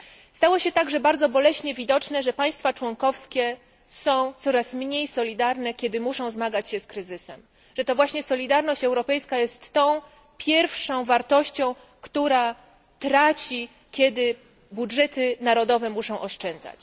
Stało się także bardzo boleśnie widoczne, że państwa członkowskie są coraz mniej solidarne, kiedy muszą zmagać się z kryzysem, że to właśnie solidarność europejska jest tą pierwszą wartością, która traci, kiedy budżety narodowe muszą oszczędzać.